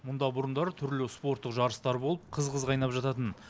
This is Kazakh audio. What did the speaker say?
мұнда бұрындары түрлі спорттық жарыстар болып қыз қыз қайнап жататын